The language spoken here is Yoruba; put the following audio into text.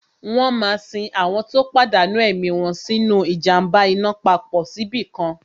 Wọ́n máa sin àwọn tó pàdánù ẹ̀mí wọn nínu ìjàm̀ba iná papọ̀ síbìkan